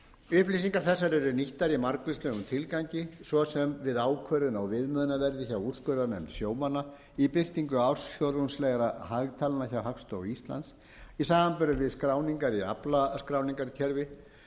upplýsingar þessar eru nýttar í margvíslegum tilgangi svo sem við ákvörðun á viðmiðunarverði hjá úrskurðarnefnd sjómanna í birtingu ársfjórðungslegra hagtalna hjá hagstofu íslands í samanburði við skráningar í aflaskráningarkerfi